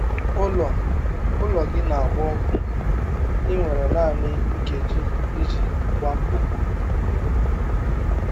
Ụlọ Ụlọ gị na-agba ọkụ, ị nwere naanị nkeji iji gbapụ!